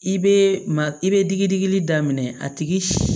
I bɛ ma i bɛ digi digili daminɛ a tigi